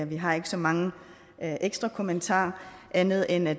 vi har ikke så mange ekstra kommentarer andet end at